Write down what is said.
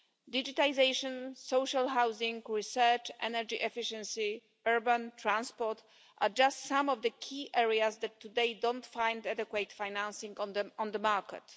Digitisation, social housing, research, energy efficiency and urban transport are just some of the key areas that today don't find adequate financing on the market.